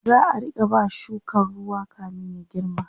za'a Rika ba shukan ruwa kamin ya girma